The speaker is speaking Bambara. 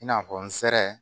I n'a fɔ nsɛrɛ